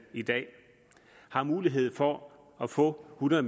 i dag har mulighed for at få hundrede